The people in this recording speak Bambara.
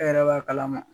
E yɛrɛ b'a kalama